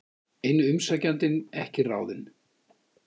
Eini umsækjandinn ekki ráðinn